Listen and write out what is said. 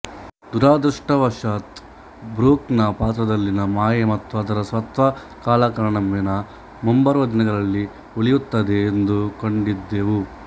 ದುರದೃಷ್ಟಾವಶಾತ Brook ನ ಪಾತ್ರದಲ್ಲಿನ ಮಾಯೆ ಮತ್ತು ಅದರ ಸತ್ವ ಕಾಲಕ್ರಮೇಣ ಮುಂಬರುವ ದಿನಗಳಲ್ಲಿ ಉಳಿಯುತ್ತದೆ ಎಂದುಕೊಂಡಿದ್ದೆವು